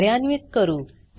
कार्यान्वीत करू